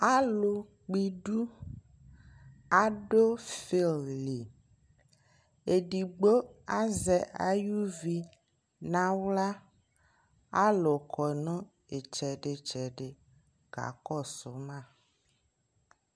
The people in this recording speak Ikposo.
alʋ kpɔ idʋ adʋ field li, ɛdigbɔ azɛ ayʋvi nʋ ala, alʋkɔnʋ ɛtsɛdi ɛtsɛdi kakɔsʋ ma